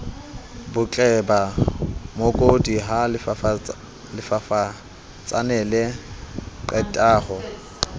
botleba mookodi ha lefafatsanele qetaho